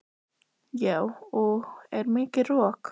Lára: Já og er mikið rok?